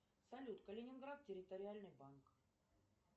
салют калининград территориальный банк